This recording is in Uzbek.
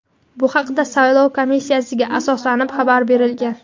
Bu haqda saylov komissiyasiga asoslanib xabar berilgan.